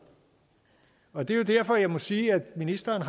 og det er derfor jeg må sige at ministeren